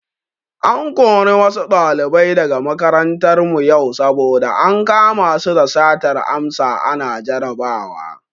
An kori wasu ɗalibai daga makarantar mu yau saboda ankama su da satar amsa ana jarabawa.